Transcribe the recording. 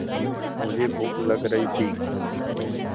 मुझे भूख लग रही थी